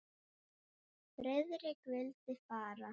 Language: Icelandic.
Friðrik vildi fara.